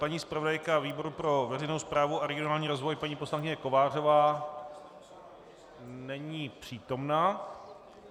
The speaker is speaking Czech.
Paní zpravodajka výboru pro veřejnou správu a regionální rozvoj, paní poslankyně Kovářová - není přítomna.